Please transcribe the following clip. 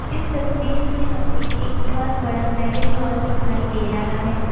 इस तस्वीर में हमें एक बहोत बड़ा मैरिज हॉल दिखाई दे रहा है।